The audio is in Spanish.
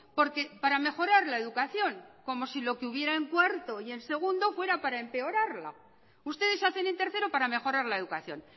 porque para mejorar la educación como si lo que hubiera en cuarto y en segundo fuera para empeorarla ustedes hacen en tercero para mejorar la educación